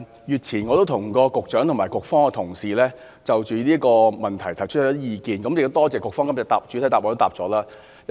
月前，我向局長和局方的同事就這項問題提出意見，亦多謝局方在今天的主體答覆中作出回覆。